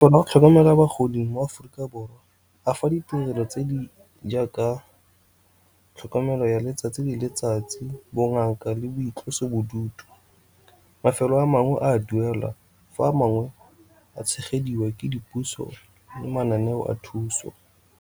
Go tlhokomela bagodi mo Aforika Borwa a fa ditirelo tse di jaaka tlhokomelo ya letsatsi le letsatsi, bongaka le boitlosobodutu. Mafelo a mangwe a duelwa fa a mangwe a tshegediwa ke dipuso le mananeo a thuso.